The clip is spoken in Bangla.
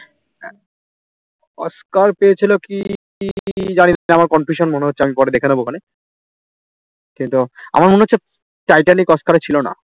অস্কার পেয়েছিল কি জানিনা আমার confusion মনে হচ্ছে আমি পরে দেখে নেব খনে ওখানে কিন্তু আমার মনে হচ্ছে টাইটানিক অস্কার এ ছিল না